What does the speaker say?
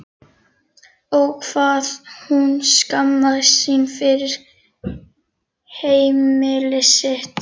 Ó, hvað hún skammaðist sín fyrir heimili sitt.